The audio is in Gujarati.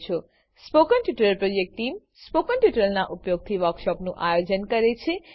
spoken tutorial project team spoken ટ્યુટોરીયલોનાં ઉપયોગથી વર્કશોપોનું આયોજન કરે છે